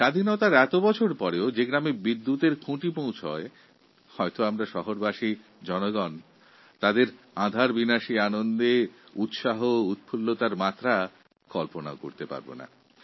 স্বাধীনতার এত বছর পরেও যখন কোনও গ্রামে বিদ্যুতের খুঁটি পৌঁছয় অন্ধকার দূর হওয়ার আশার অপরিসীম আনন্দ ও উচ্ছ্বাস বিদ্যুতের সুবিধাপ্রাপ্ত শহরবাসী অনুভবও করতে পারবেন না